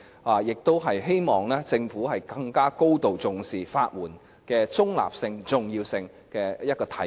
我亦希望這是政府更高度重視法援的中立性及重要性的體現。